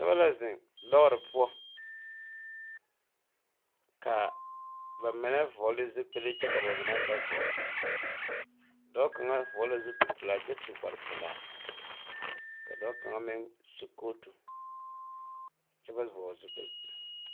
Nobɔ la zeŋ lɔɔre poɔ kaa ba mine vɔɔle zupile kyɛ ka ba mine meŋ ba vɔgle dɔɔ kaŋa vɔgle la zupile pelaa kyɛ su kparepelaa ka dɔɔ kaŋa meŋ su kootu kyɛ ba vɔgle zupile.